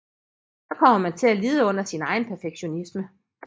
Så kommer man til at lide under sin egen perfektionisme